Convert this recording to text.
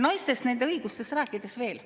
Naistest ja nende õigustest veel.